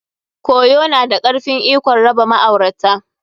Koyu na da karfen ikon raba ma'aurata.